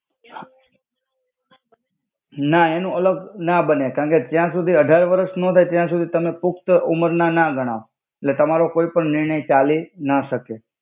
આહ ના એનુ અલ્ગ ના બને કાન કે જ્યા સુધી અઢાર વરસ નો થાઇ ત્યા સુધી તમે પુક્ત ઉમેરના ના ગણાવ એટ્લે તમારો કોઇ પણ નિરણ્ય ચાલિ ના સકે.